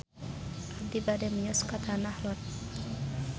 Abi bade mios ka Tanah Lot